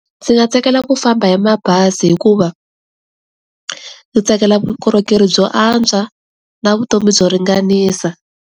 Ndzi nga tsakela ku famba hi mabazi hikuva ndzi tsakela vukorhokeri byo antswa, na vutomi byo ringanisa.